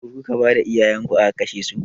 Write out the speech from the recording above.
Ku kuka bada iyayenku aka kashesu?